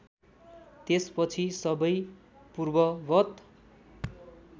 त्यसपछि सबै पूर्ववत्